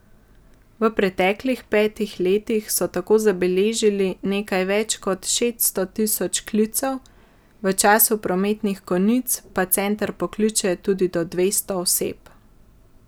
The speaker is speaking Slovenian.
V preteklih petih letih so tako zabeležili nekaj več kot šeststo tisoč klicev, v času prometnih konic pa center pokliče tudi do dvesto oseb.